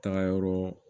Taga yɔrɔ